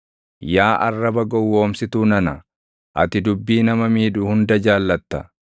Yaa arraba gowwoomsituu nana, ati dubbii nama miidhu hunda jaallatta.